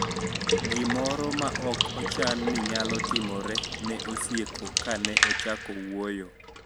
Gimoro ma ok ochan ni nyalo timore ne osieko ka ne ochako wuoyo